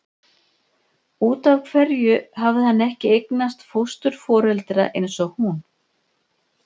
Út af hverju hafði hann ekki eignast fósturforeldra eins og hún?